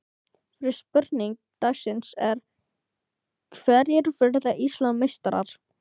Fyrri spurning dagsins er: Hverjir verða Íslandsmeistarar?